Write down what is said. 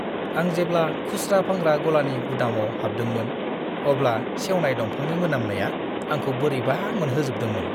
आं जेब्ला खुस्रा फानग्रा गलानि गुदामाव हाबदोंमोन, अब्ला सेवनाय दंफांनि मोनामनाया आंखौ बोरैबा मोनहोजोबदोंमोन!